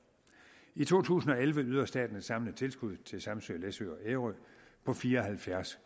i to tusind og elleve yder staten et samlet tilskud til samsø læsø og ærø på fire og halvfjerds